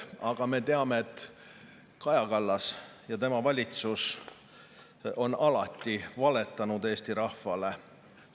" Aga me teame, et Kaja Kallas ja tema valitsus on alati valetanud Eesti rahvale.